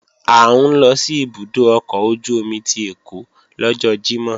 À ń lọ sí ibùdó ọkọ̀ ojú-omi ti Ẹ̀kọ́ lọ́jọ́ Jímọ̀